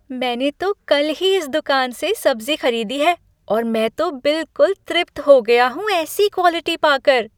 मैंने तो कल ही इस दुकान से सब्ज़ी खरीदी है और मैं तो बिलकुल तृप्त हो गया हूँ ऐसी क्वालिटी पाकर।